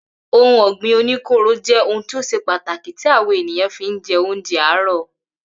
Ohun ọ̀gbìn oní kóóró jẹ́ ohun tí o ṣe pàtàkì tí àwa ènìyàn fi ń jẹ oúnjẹ àárọ̀